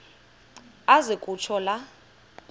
aze kutsho la